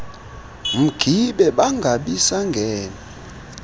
mgibe bangabi sangena